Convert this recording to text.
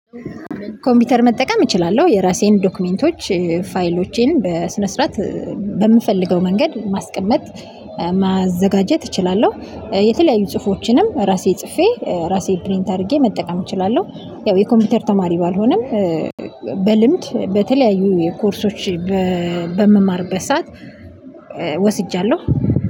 ኮምፒውተር መጠቀም እችላለሁ የራሴን ዶክመንቶች ፋይሎቼን በስነ ስርዓት በምፈልገው መንገድ ማስቀመጥ ማዘጋጀት እችላለሁ። የተለያዩ ጽሁፎችንም ራሴ ጽፌ ራሴ ፕሪንት አድርጌ መጠቀም እችላለሁ። ያው የኮምፒውተር ተማሪ ባልሆነም። በልምድ በተለያዩ የኮርሶች በምማርበት ሰዓት ወስጃለሁ